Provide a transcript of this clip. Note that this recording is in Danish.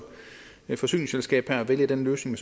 forsyningsselskab kan vælge den løsning